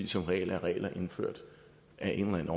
som regel er regler indført af en